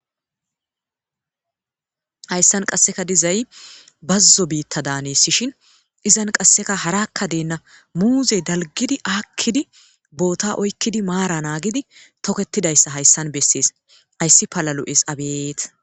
hayssan qasseka dizay bazzo biitta daaneesishin izan qasseka harakka deenna muuzey dalgidi aakkidi boota oykkidi maara naagidi toketidayssa hayssan bessees ayssi palalu7es abet